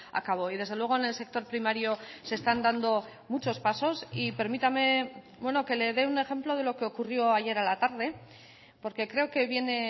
a cabo y desde luego en el sector primario se están dando muchos pasos y permítame que le dé un ejemplo de lo que ocurrió ayer a la tarde porque creo que viene